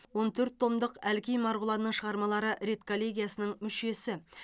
он төрт томдық әлкей марғұланның шығармалары редколлегиясының мүшесі